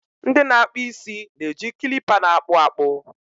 ndị na-akpụ isi na-eji kilipa na-akpụ akpụ